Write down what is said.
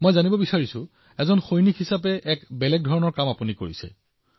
মই জানিব বিচাৰো যে এজন সৈনিক হিচাপে আপুনি এক বেলেগ ধৰণৰ কাম কৰিছে